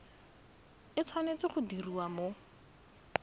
e tshwanetse go diriwa mo